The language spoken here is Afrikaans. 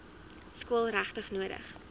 skool regtig nodig